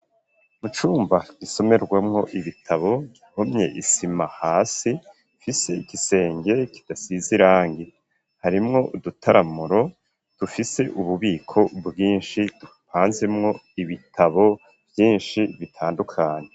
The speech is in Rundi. Mu cumba gisomerwamwo ibitabo hahomye isima hasi ifise igisenge kidasize irangi harimwo udutaramuro dufise ububiko bwinshi dupanzemwo ibitabo vyinshi bitandukanye.